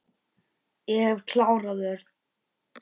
Ég hef klárað Örn.